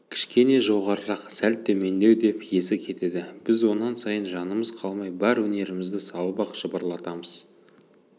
кішкене жоғарырақ сәл төмендеу деп есі кетеді біз онан сайын жанымыз қалмай бар өнерімізді салып-ақ жыбырлатамыз